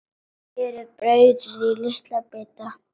Skerið brauðið í litla bita.